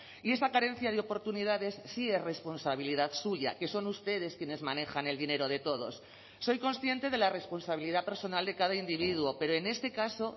y esa carencia de oportunidades sí es responsabilidad suya que son ustedes quienes manejan el dinero de todos soy consciente de la responsabilidad personal de cada individuo pero en este caso